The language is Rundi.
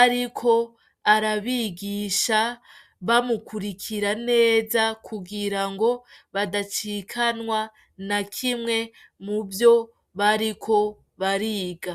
ariko, arabigisha. Bamukurikira neza kugira ngo badacikanwa , nakimwe muvyo bariko bariga.